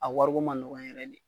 A wariko ma nɔgɔ yɛrɛ de.